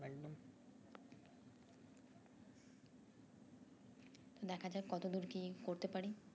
দেখা যাক কত দূর কি করতে পারি